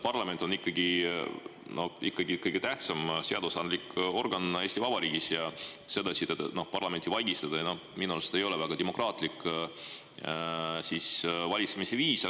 Parlament on ikkagi kõige tähtsam seadusandlik organ Eesti Vabariigis ja sedasi parlamenti vaigistada minu arust ei ole väga demokraatlik valitsemisviis.